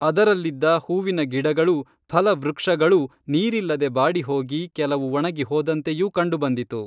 ಅದರಲ್ಲಿದ್ದ ಹೂವಿನ ಗಿಡಗಳೂ ಫಲವೃಕ್ಷಗಳೂ ನೀರಿಲ್ಲದೆ ಬಾಡಿಹೋಗಿ ಕೆಲವು ಒಣಗಿ ಹೋದಂತೆಯೂ ಕಂಡು ಬಂದಿತು